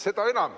Seda enam ...